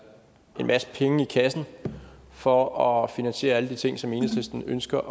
en masse penge i kassen for at finansiere alle de ting som enhedslisten ønsker